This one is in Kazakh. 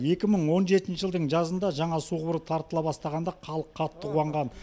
екі мың он жетінші жылдың жазында жаңа су құбыры тартыла бастағанда халық қатты қуанған